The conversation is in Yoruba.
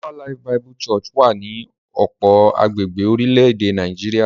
Deeper Life Bible Church wà ní ọ̀pọ̀ agbègbè orílẹ̀-èdè Nàìjíríà.